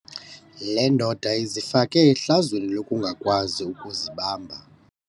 Le ndoda izifake ehlazweni lokungakwazi ukuzibamba.